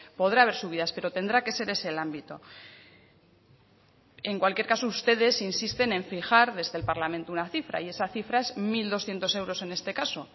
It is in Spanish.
podrá haber subidas pero tendrá que ser ese el ámbito en cualquier caso ustedes insisten en fijar desde el parlamento una cifra y esa cifra es mil doscientos euros en este caso